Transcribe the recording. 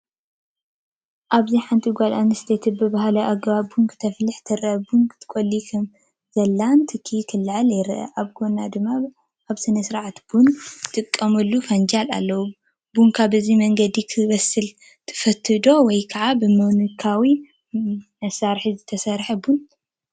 ኣብዚ ሓንቲ ጓል ኣንስተይቲ ብባህላዊ ኣገባብ ቡን ክተፍልሕ ትርአ። ቡን ትቆሉ ከምዘሎን ትኪ ክለዓልን ይረአ ኣሎ። ኣብ ጎና ድማ ኣብ ስነ-ስርዓት ቡን ዝጥቀሙሉ ፈናጅል ኣለዉ። ቡንካ በዚ መንገዲ ክብሰል ትፈቱዶ? ወይስ ብመካኒካዊ መሳርሒ ዝተሰርሐ ቡን ትመርጹ?